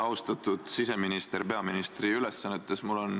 Austatud siseminister peaministri ülesannetes!